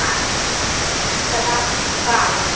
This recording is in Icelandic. Á því strangt bann.